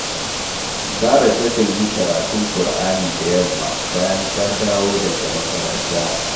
Zara takan yi karatun Kur’ani da yamma bayan ta dawo daga makaranta